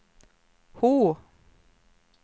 H